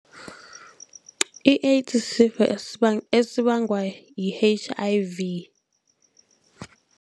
I-AIDS sisifo esibangwa yi-H_I_V.